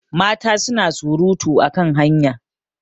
mata suna surutu a kan hanya